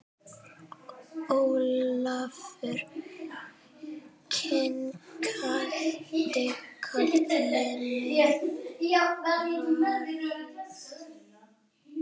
Ólafur kinkaði kolli með varúð.